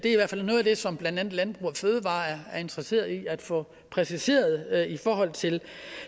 det som blandt andet landbrug fødevarer er interesseret i at få præciseret i forhold til